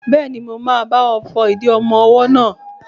Bẹ́ẹ̀ni, mo máa bá ọ fọ ìdí ọmọ-ọwọ́ náà